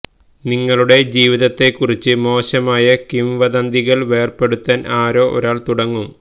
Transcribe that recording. നിങ്ങളുടെ ജീവിതത്തെക്കുറിച്ച് മോശമായ കിംവദന്തികൾ വേർപെടുത്താൻ ആരോ ഒരാൾ തുടങ്ങും